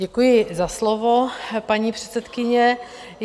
Děkuji za slovo, paní předsedkyně.